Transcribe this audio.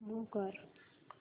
move कर